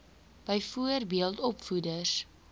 byvoorbeeld opvoeders